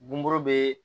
Buuru be